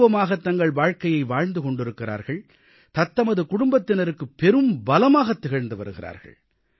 கௌரவமாகத் தங்கள் வாழ்க்கையை வாழ்ந்து கொண்டிருக்கிறார்கள் தத்தமது குடும்பத்தினருக்குப் பெரும்பலமாகத் திகழ்ந்து வருகிறார்கள்